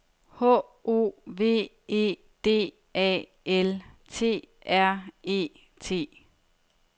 H O V E D A L T R E T